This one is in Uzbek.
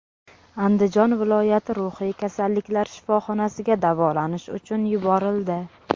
Andijon viloyati ruhiy kasalliklar shifoxonasiga davolanish uchun yuborildi.